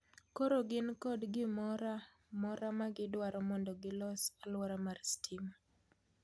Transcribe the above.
Koro gin kod gimora mora ma gidwaro mondo gilos aluora mar stima.